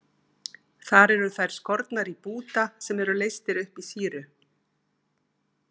Þar eru þær skornar í búta sem eru leystir upp í sýru.